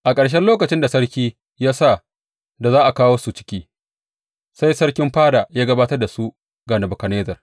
A ƙarshen lokacin da sarki ya sa da za a kawo su ciki, sai sarkin fada ya gabatar da su ga Nebukadnezzar.